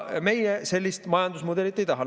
Meie sellist majandusmudelit ei taha.